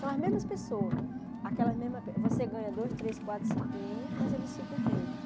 São as mesmas pessoas, aquelas mesmas você ganha dois, três, quatro, cinco clientes, mas eles ficam os mesmos.